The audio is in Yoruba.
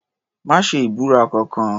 Má ṣe ìbúra kankan.